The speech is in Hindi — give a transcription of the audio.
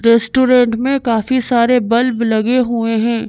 रेस्टोरेंट में काफी सारे बल्ब लगे हुए हैं।